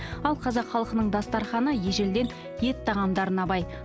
ал қазақ халқының дастарханы ежелден ет тағамдарына бай